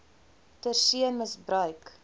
ter see misbruik